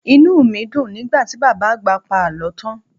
Inú mi dùn nígbà tí Bàbá Àgbà pa àlọ́ tán.